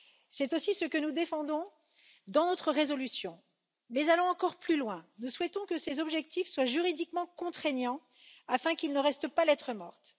C'est aussi ce que nous défendons dans notre résolution, mais allons encore plus loin nous souhaitons que ces objectifs soient juridiquement contraignants afin qu'ils ne restent pas lettre morte.